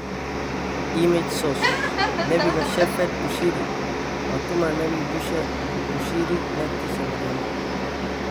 image source, Nabiga Shepherd Bushiri Waa tuma nabi Bushiri naagtiisii ​​Maryama?